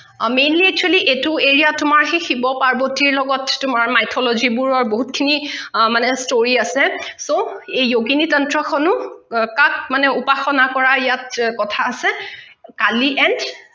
mainly actually এইটো area ত তোমাৰ সেই শিৱ পাৰ্বতীৰ লগত তোমাৰ mythology বোৰৰ বহুত খিনি আ মানে story আছে so এই yogini tantra খনো কাক উপাসনা কৰা ইয়াত কখা আছে কালি and